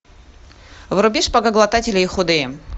вруби шпагоглотатели и худые